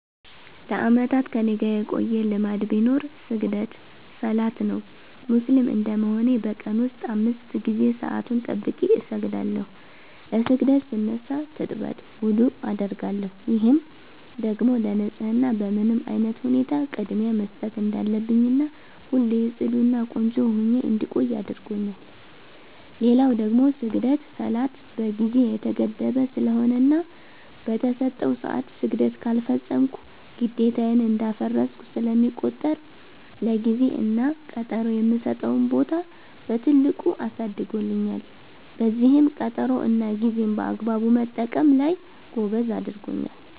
ለአመታት ከኔጋ የቆየ ልማድ ቢኖር ስግደት(ሰላት) ነው። ሙስሊም እንደመሆኔ በ ቀን ውስጥ 5 ጊዜ ሰአቱን ጠብቄ እሰግዳለው። ለ ስግደት ስነሳ ትጥበት(ውዱዕ) አደርጋለው፤ ይህም ደግሞ ለ ንፀህና በምንም አይነት ሁኔታ ቅድሚያ መስጠት እንዳለብኝና ሁሌ ፅዱ እና ቆንጆ ሁኜ እንድቆይ አድርጎኛል። ሌላው ደግሞ ስግደት(ሰላት) በ ጊዜ የተገደበ ስለሆነና በ ተሰጠው ሰዐት ስግደት ካልፈፀምኩ ግዴታዬን እንዳፈረስኩ ስለሚቆጠር ለ ጊዜ እና ቀጠሮ የምሰጠውን ቦታ በትልቁ አሳድጎልኛል፤ በዚህም ቀጠሮ እና ጌዜን በአግባቡ መጠቀም ላይ ጎበዝ አድርጎኛል።